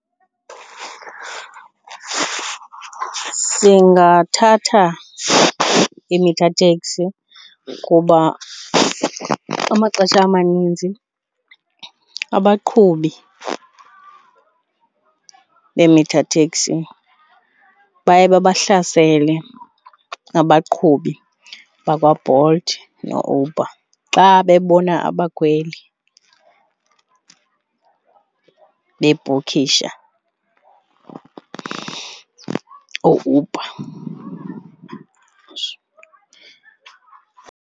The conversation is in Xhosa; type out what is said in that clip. Singathatha i-meter taxi kuba amaxesha amaninzi abaqhubi be-meter taxi baye babahlasele abaqhubi bakwaBolt noUber xa bebona abakhweli bebhukhisha ooUber.